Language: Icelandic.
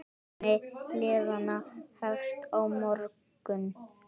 Keppni liðanna hefst á morgun.